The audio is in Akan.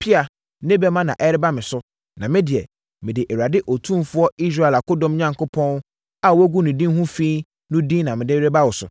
pea ne bɛmma na ɛreba me so, na me deɛ, mede Awurade Otumfoɔ Israel akodɔm Onyankopɔn a woagu ne din ho fi no din na mede reba wo so.